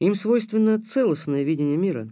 им свойственно целостное видение мира